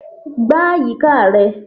Gbá àyíká rẹ.